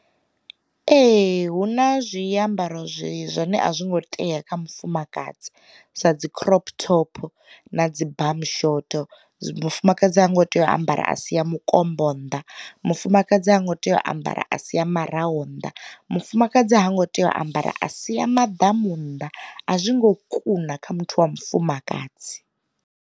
Ee hu na zwi ambaro zwine a zwi ngo tea kha mufumakadzi sa dzi crop top na dzi bum short. Mufumakadzi ha ngo tea u ambara a si ya mukombo nnḓa, mufumakadzi ha ngo tea u ambara a sia maraho nnḓa, mufumakadzi ha ngo tea u ambara a sia maḓamu nnḓa, a zwi ngo kuna kha muthu wa mufumakadzi.